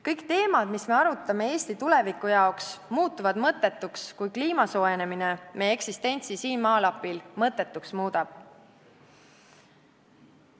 Kõik teemad, mis me arutame Eesti tulevikku silmas pidades, muutuvad mõttetuks, kui kliima soojenemine meie eksistentsi siin maalapil mõttetuks muudab.